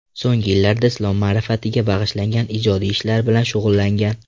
So‘nggi yillarda islom ma’rifatiga bag‘ishlangan ijodiy ishlar bilan shug‘ullangan.